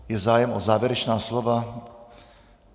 Je zájem o závěrečná slova?